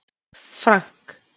Frank